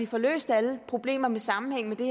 får løst alle problemer med sammenhæng